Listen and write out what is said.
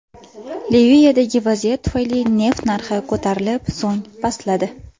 Liviyadagi vaziyat tufayli neft narxi ko‘tarilib, so‘ng pastladi .